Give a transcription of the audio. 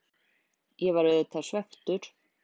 Ég var auðvitað svekktur.